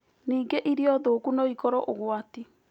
Ningĩ irio thũũku no ĩkorũo ũgwati.